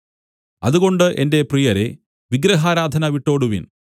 അതുകൊണ്ട് എന്റെ പ്രിയരേ വിഗ്രഹാരാധന വിട്ടോടുവിൻ